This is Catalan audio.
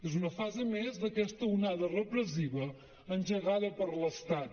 és una fase més d’aquesta onada repressiva engegada per l’estat